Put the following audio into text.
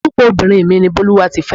Orúkọ obìnrin mi ni Bólúwatifẹ́.